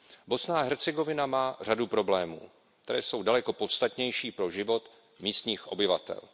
Bosna a Hercegovina má řadu problémů, které jsou daleko podstatnější pro život místních obyvatel.